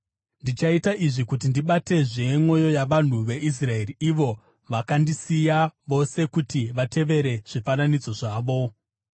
Ndichaita izvi kuti ndibatezve mwoyo yavanhu veIsraeri, ivo vakandisiya vose kuti vatevere zvifananidzo zvavo.’